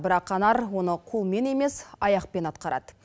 бірақ анар оны қолмен емес аяқпен атқарады